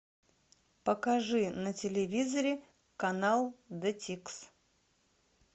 покажи на телевизоре канал детикс